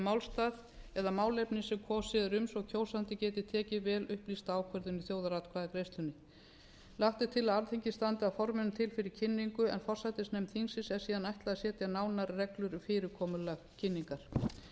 málstað eða málefni sem kosið er um svo kjósandi geti tekið vel upplýsta ákvörðun í þjóðaratkvæðagreiðslunni lagt er til að alþingi standi að forminu til fyrir kynningu en forsætisnefnd þingsins er síðan ætlað að setja nánari reglur um fyrirkomulag kynningar í